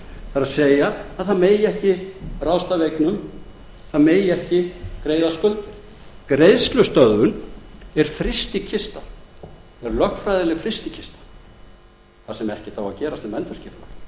það er að ekki megi ráðstafa eignum ekki megi greiða skuldir greiðslustöðvun er frystikista er lögfræðileg frystikista þar sem ekkert á að gerast nema